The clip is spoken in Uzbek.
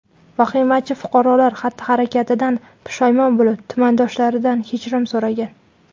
Vahimachi fuqarolar xatti-harakatidan pushaymon bo‘lib, tumandoshlaridan kechirim so‘ragan.